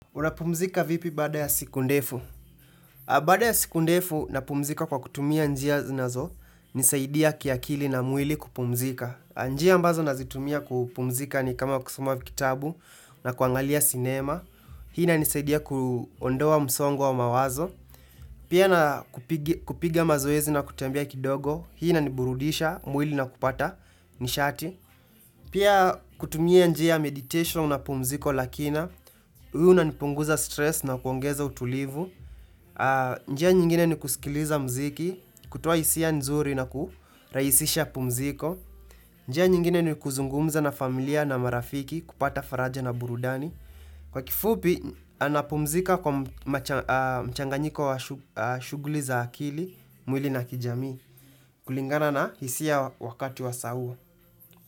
Unapumzika vipi baada ya siku ndefu? Bada ya siku ndefu napumzika kwa kutumia njia zinazo nisaidia kiakili na mwili kupumzika. Njia ambazo nazitumia kupumzika ni kama kusoma vitabu na kuangalia sinema. Hii inanisaidia kuondoa msongo wa mawazo. Pia na kupiga mazoezi na kutembea kidogo. Hii inaniburudisha mwili na kupata nishati. Pia kutumia njia meditation na pumziko la kina. Hunipunguza stress na kuongeza utulivu. Njia nyingine ni kusikiliza mziki, kutoa hisia nzuri na kuhurahisisha pumziko. Njia nyingine ni kuzungumza na familia na marafiki, kupata faraja na burudani. Kwa kifupi, anapumzika kwa mchanganyiko wa shughuli za akili, mwili na kijamii. Kulingana na hisia wakati wa saa huu.